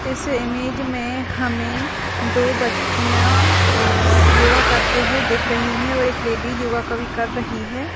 इस इमेज में हमे दो बच्चियां अ योगा करते हुए दिख रही है और एक लेडिज योगा कभी कर रही है।